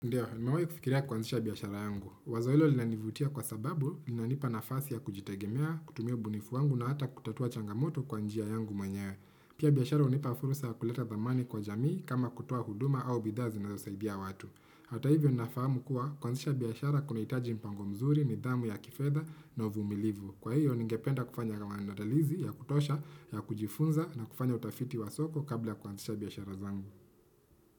Ndio, nimewai kufikiria kuanzisha biashara yangu. Wazo hilo linanivutia kwa sababu, linanipa nafasi ya kujitegemea, kutumia ubunifu wangu na hata kutatua changamoto kwa njia yangu mwenyewe. Pia biashara hunipa fursa ya kuleta thamani kwa jamii kama kutoa huduma au bidhaa zinazosaidia watu. Hata hivyo nafahamu kuwa, kuanzisha biashara kunahitaji mpango mzuri, nidhamu ya kifedha na uvumilivu. Kwa hivyo, ningependa kufanya maandalizi, ya kutosha, ya kujifunza na kufanya utafiti wa soko kabla kuanzisha biashara zangu.